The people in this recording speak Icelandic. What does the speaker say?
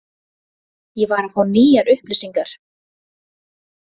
Ég var að fá nýjar upplýsingar.